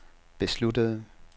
besluttede